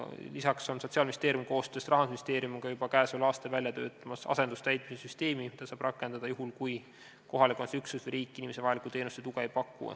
Lisaks töötab Sotsiaalministeerium koostöös Rahandusministeeriumiga juba sellel aastal välja asendustäitmise süsteemi, mida saab rakendada juhul, kui kohaliku omavalitsuse üksus või riik inimesele vajalikku teenust või tuge ei paku.